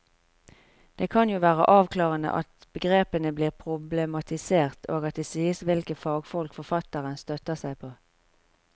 Det kan jo være avklarende at begrepene blir problematisert og at det sies hvilke fagfolk forfatteren støtter seg på.